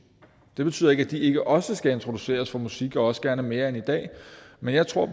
det betyder ikke at de ikke også skal introduceres for musik og også gerne mere end i dag men jeg tror